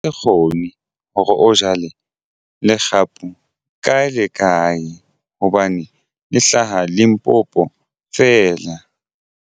Kgone hore o jale legapu kae le kae hobane le hlaha Limpopo feela.